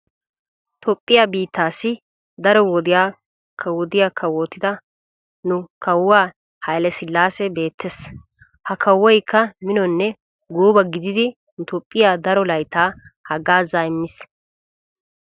Toophphiya bittaassi daro wodiya kawodiya kawotida nu kawuwaa hailesellaasi beettes. Ha kawoyikka minonne gooba gididi nu toophphiya daro layttaa haggaazaa immis.